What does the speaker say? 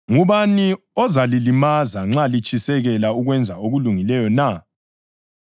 Ngubani ozalilimaza nxa litshisekela ukwenza okulungileyo na?